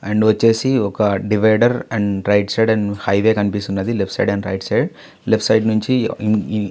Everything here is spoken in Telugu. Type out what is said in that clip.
అండ్ వచ్చేసి ఒక divider and right side highway కనిపిస్తుంది left side and right side left side నుంచి --